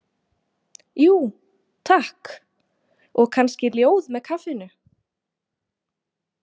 Jú, takk, og kannski ljóð með kaffinu?